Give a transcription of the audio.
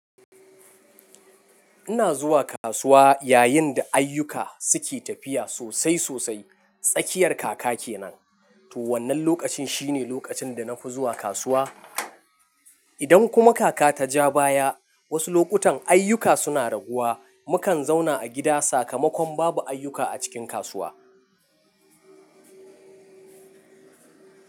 Ina zuwa kasuwa yayin da ayyuka suke tafiya sosai sosai. Tsakiyar kaka kenan. To wannan lokacin shine lokacin da na fi zuwa kasuwa. Idan kuma kaka ta ja baya, wasu lokutan ayyuka suna raguwa, mukan zauna a gida sakamakon babu ayyuka a cikin kasuwa.